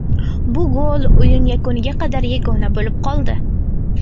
Bu gol o‘yin yakuniga qadar yagona bo‘lib qoldi.